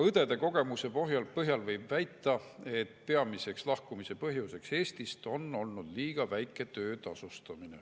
Õdede kogemuse põhjal võib väita, et peamine Eestist lahkumise põhjus on olnud liiga väike töötasu.